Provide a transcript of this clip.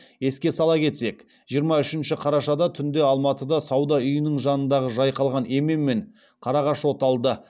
еске сала кетсек жиырма үшінші қарашада түнде алматыда сауда үйінің жанындағы жайқалған емен мен қарағаш оталды